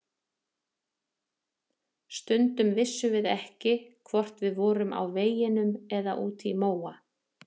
Stundum vissum við ekki hvort við vorum á veginum eða úti í móa.